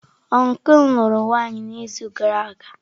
Ọncụl m lụrụ nwaanyị n’izu gara aga.